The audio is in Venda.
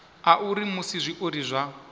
a uri musi zwiori zwa